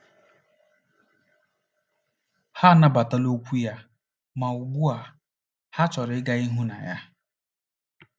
Ha anabatala okwu ya, ma ugbu a ha chọrọ ịga n’ihu na ya.